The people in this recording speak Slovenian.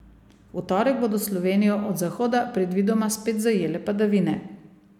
V torek bodo Slovenijo od zahoda predvidoma spet zajele padavine.